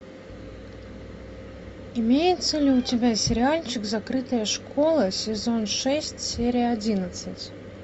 имеется ли у тебя сериальчик закрытая школа сезон шесть серия одиннадцать